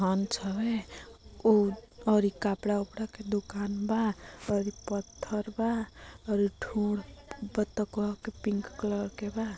हंस हवे ऊ और ये कपड़ा वपडा का दुकान बा और ये पत्थर बा और ये थूर बत्तक बा के पिंक कलर के बा।